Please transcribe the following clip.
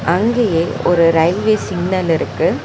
அங்கயே ஒரு railway signal இருக்கு.